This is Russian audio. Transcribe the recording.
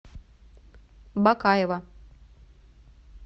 бакаева